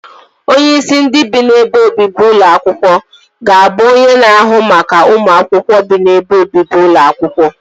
Onyeisi ndị bi n'ebe obibi ụlọ akwụkwọ ga-abụ onye na-ahụ maka ụmụ akwụkwọ bi n'ebe obibi ụlọ akwụkwọ